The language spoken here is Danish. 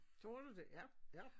Gjorde du det ja ja